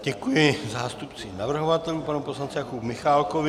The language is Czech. Děkuji zástupci navrhovatelů panu poslanci Jakubu Michálkovi.